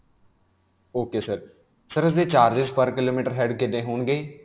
ok sir. sir ਇਸਦੇ charges per kilometer head ਕਿੰਨੇ ਹੋਣਗੇ?